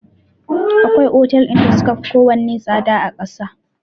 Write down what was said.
Akwai otal da suka fi ko wane tsada a ƙasa.